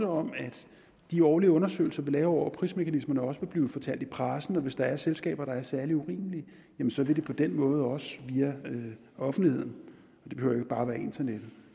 om at de årlige undersøgelser vi laver over prismekanismerne også vil blive fortalt i pressen og hvis der er selskaber der er særlig urimelige så vil det på den måde også via offentligheden og det behøver ikke bare være internettet